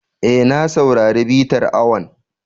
E, na saurari bitar awon.